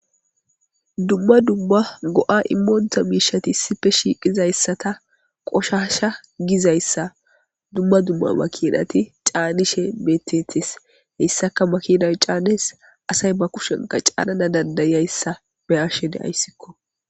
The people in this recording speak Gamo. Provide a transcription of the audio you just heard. Dumma dumma go7a immooonta miishati sife shiiqizayssata qoshasha gizayssa dumma dumma makinati caanishe betetes heyssaka makinay caanes asay ba kushenka caanana dandayayssa meyashene ayssikko.